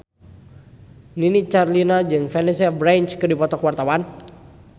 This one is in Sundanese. Nini Carlina jeung Vanessa Branch keur dipoto ku wartawan